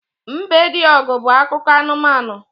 Mbediogu' bu akụkọ anumanu